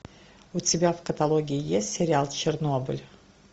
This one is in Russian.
у тебя в каталоге есть сериал чернобыль